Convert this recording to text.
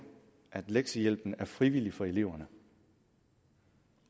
at lektiehjælpen er frivillig for eleverne